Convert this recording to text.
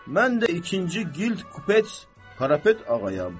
Mən də ikinci qild kupets Karapet ağayam.